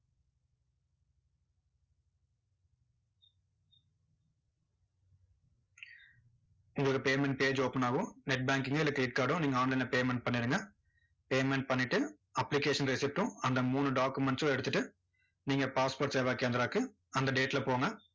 உங்களுக்கு payment page open ஆகும் net banking ஓ இல்ல credit card ஓ நீங்க online ல payment பண்ணிருங்க payment பண்ணிட்டு application receipt ம், அந்த மூணு documents ம் எடுத்துட்டு, நீங்க passport சேவா கேந்த்ராவுக்கு அந்த date ல போங்க.